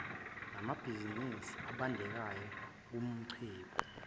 nababhizinisi abandanyeka kumacebo